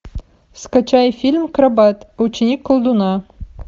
скачай фильм акробат ученик колдуна